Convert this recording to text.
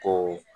Ko